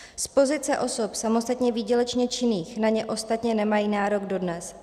Z pozice osob samostatně výdělečně činných na ně ostatně nemají nárok dodnes.